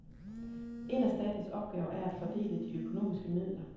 En af statens opgaver er at fordele de økonomiske midler.